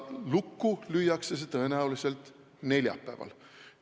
Lukku lüüakse see tõenäoliselt neljapäeval.